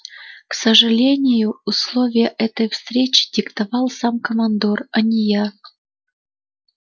к сожалению условия этой встречи диктовал сам командор а не я